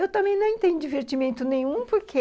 Eu também não entendo divertimento nenhum, porque